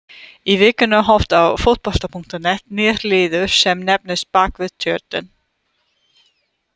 Í vikunni hófst á Fótbolta.net nýr liður sem nefnist Bakvið tjöldin.